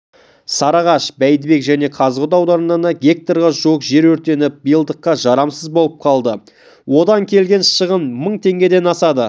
сарыағаш бәйдібек және қазығұрт аудандарында гектарға жуық жер өртеніп биылдыққа жарамсыз болып қалды одан келген шығын мың теңгеден асады